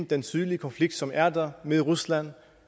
den tydelige konflikt som er der med rusland